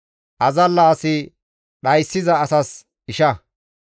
Azalla asi dhayssiza asas isha.